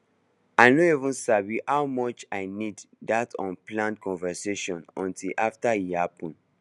i no even sabi how much i need that unplanned conversation until after e happen